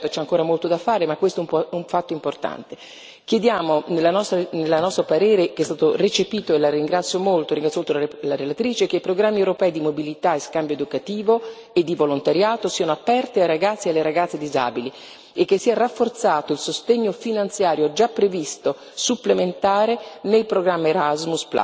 Certo, c'è ancora molto da fare ma questo è un fatto importante. Chiediamo nel nostro parere che è stato recepito e ringrazio molto la relatrice per questo che i programmi europei di mobilità e scambio educativo e di volontariato siano aperti ai ragazzi e alle ragazze disabili e che sia rafforzato il sostegno finanziario, già previsto, supplementare nel programma Erasmus.